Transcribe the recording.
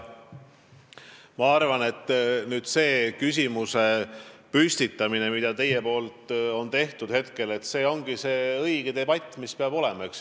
Ma arvan, et see, mida te teete, st sellise küsimuse püstitamine on õige.